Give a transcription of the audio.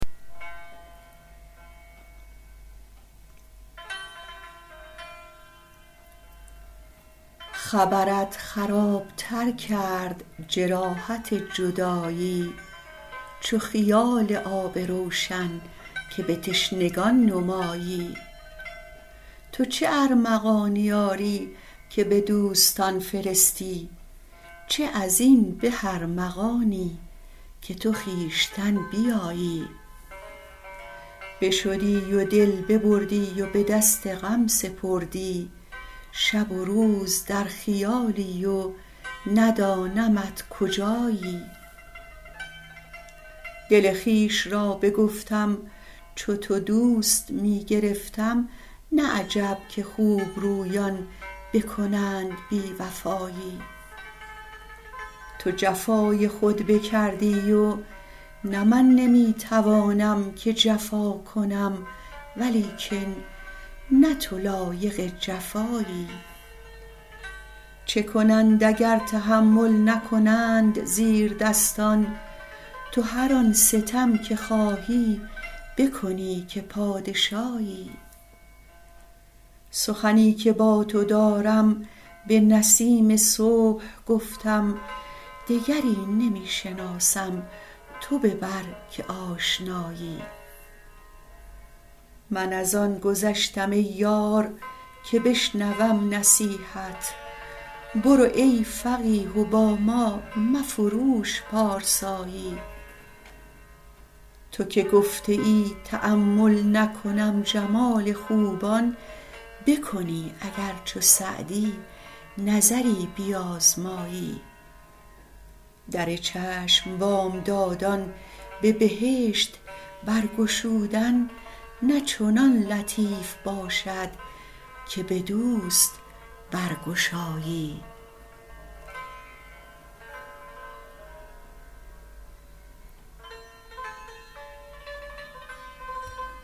خبرت خراب تر کرد جراحت جدایی چو خیال آب روشن که به تشنگان نمایی تو چه ارمغانی آری که به دوستان فرستی چه از این به ارمغانی که تو خویشتن بیایی بشدی و دل ببردی و به دست غم سپردی شب و روز در خیالی و ندانمت کجایی دل خویش را بگفتم چو تو دوست می گرفتم نه عجب که خوبرویان بکنند بی وفایی تو جفای خود بکردی و نه من نمی توانم که جفا کنم ولیکن نه تو لایق جفایی چه کنند اگر تحمل نکنند زیردستان تو هر آن ستم که خواهی بکنی که پادشایی سخنی که با تو دارم به نسیم صبح گفتم دگری نمی شناسم تو ببر که آشنایی من از آن گذشتم ای یار که بشنوم نصیحت برو ای فقیه و با ما مفروش پارسایی تو که گفته ای تأمل نکنم جمال خوبان بکنی اگر چو سعدی نظری بیازمایی در چشم بامدادان به بهشت برگشودن نه چنان لطیف باشد که به دوست برگشایی